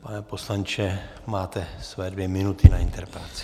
Pane poslanče, máte své dvě minuty na interpelaci.